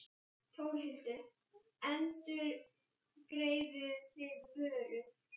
Þórhildur: Endurgreiðið þið vörur?